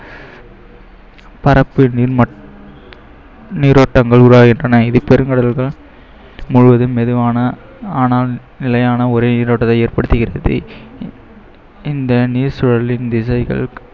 பரப்பு நீர் மட்~ நீரோட்டங்கள் உருவாகின்றன முழுவதும் மெதுவான ஆனால் நிலையான ஒரே நீரோட்டத்தை ஏற்படுத்துகிறது இந்த நீர் சூழலின் திசைகள்